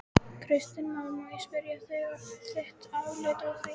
Kristján Már: Má ég spyrja um þitt álit á því?